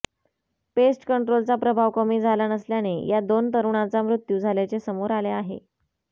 paste कंट्रोलचा प्रभाव कमी झाला नसल्याने या दोन तरुणाचा मृत्यू झाल्याचे समोर आले आहे